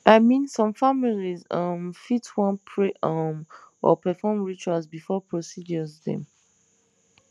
i mean some families um fit wan pray um or perform rituals before procedures dem